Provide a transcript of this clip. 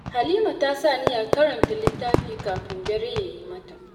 Halima ta sa niyyar karanta littafi kafin dare ya yi mata.